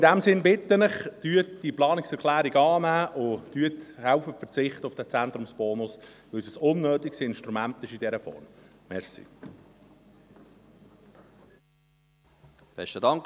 Deshalb: In diesem Sinn bitte ich Sie: Nehmen Sie diese Planungserklärung an, und verzichten Sie auf diesen Zentrumsbonus, weil er in dieser Form ein unnötiges Instrument ist.